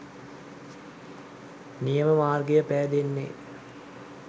නියම මාර්ගය පෑදෙන්නේ.